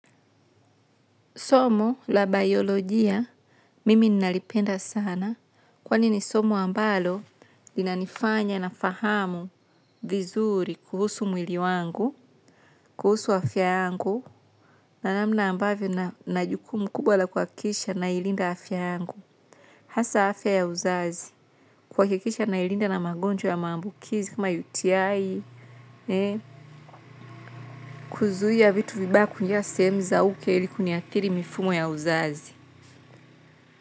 Somo la biolojia mimi nalipenda sana kwani ni somo ambalo linanifanya nafahamu vizuri kuhusu mwili wangu kuhusu afya yangu na namna ambayo ninajukumu kubwa la kuhakikisha nailinda afya yangu. Hasa afya ya uzazi, kuhakikisha nailinda na magonjwa ya maambukizi kama yutiai, kuzuia vitu vibaya kuingia sehemu za uke ilikuni athiri mifumo ya uzazi.